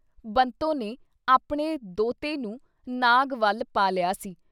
ਬੰਤੋਂ ਨੇ ਆਪਣੇ ਦੋਹਤੇ ਨੂੰ ਨਾਗ਼ਵਲ ਪਾ ਲਿਆ ਸੀ।